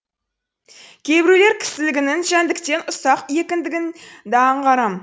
кейбіреулер кісілігінің жәндіктен ұсақ де аңғарам